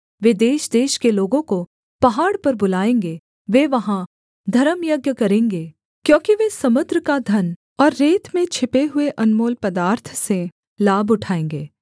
वे देशदेश के लोगों को पहाड़ पर बुलाएँगे वे वहाँ धर्मयज्ञ करेंगे क्योंकि वे समुद्र का धन और रेत में छिपे हुए अनमोल पदार्थ से लाभ उठाएँगे